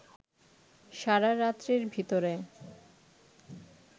সারা রাত্রের ভিতরে